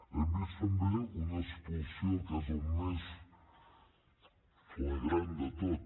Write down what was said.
hem vist també una expulsió que és el més flagrant de tot